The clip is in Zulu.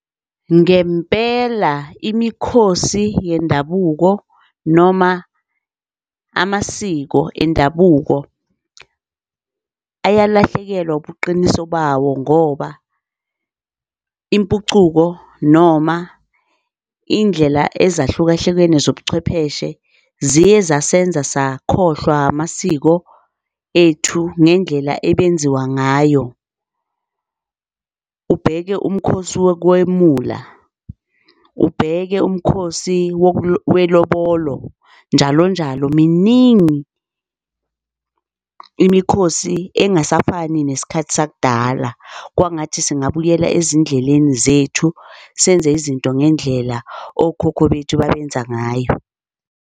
Ngempela imikhosi yendabuko noma amasiko endabuko ayalahlekelwa ubuqiniso bawo ngoba impucuko noma indlela ezahlukahlukene zobuchwepheshe ziye zasenza sakhohlwa amasiko ethu ngendlela ebenziwa ngayo. Ubheke umkhosi wokwemula, ubheke umkhosi welobolo njalo njalo. Miningi imikhosi engasafuni nesikhathi sakudala. Kwangathi singabuyela ezindleleni zethu, senze izinto ngendlela okhokho bethu babenza ngayo.